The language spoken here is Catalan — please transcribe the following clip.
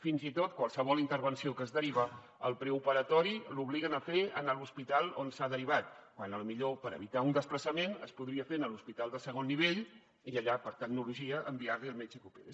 fins i tot qualsevol intervenció que es deriva el preoperatori l’obliguen a fer a l’hospital on s’ha derivat quan potser per evitar un desplaçament es podria fer a l’hospital de segon nivell i allà per tecnologia enviar li al metge que opera